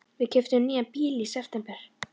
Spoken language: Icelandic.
Við keyptum nýjan bíl í september.